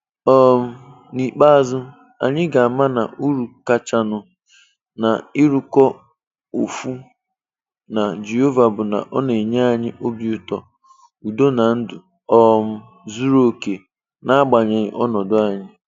um N'ikpeazụ, anyị ga-ama na uru kachanụ n'ịrụkọ ọfụ na Jehova bụ na ọ na-enye anyị obi ụtọ, udo na ndụ um zuru okè, na-agbanyeghi ọnọdụ anyị